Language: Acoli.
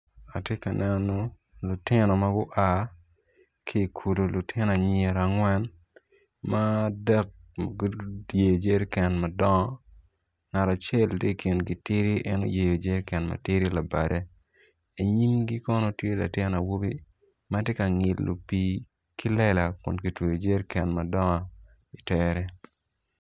Atye ka neno lutino ma gua ki ikulu lutino anyira angwen ma adek guyeyo jeriken madongo ngat acel tye ikingi tidi en oyeyo jeriken ma tidi labade inyimgi kon tye latin awobi ma tye ka ngilo pii ki lela kun kitweyo jeriken madonog itere.